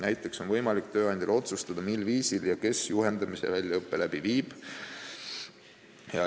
Näiteks on tööandjal võimalik otsustada, mil viisil ja kes juhendamise ja väljaõppe läbi viib.